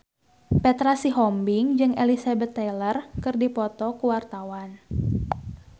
Petra Sihombing jeung Elizabeth Taylor keur dipoto ku wartawan